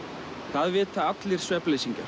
það vita allir